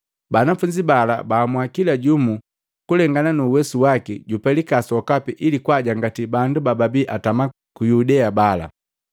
Banafunzi bala baamua kila jumu kulengana nuuwesu waki jupelika sokapi ili kwaajangati bandu bababi atama ku Yudea bala.